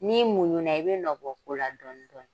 N'i muɲuna, i be nɔ bɔ ko la dɔni dɔni.